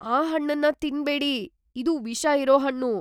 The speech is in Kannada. ಆ ಹಣ್ಣನ್ನ ತಿನ್ಬೇಡಿ. ಇದು ವಿಷ ಇರೋ ಹಣ್ಣು!